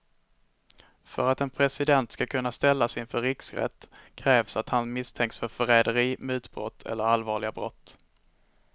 För att en president ska kunna ställas inför riksrätt krävs att han misstänks för förräderi, mutbrott eller allvarliga brott.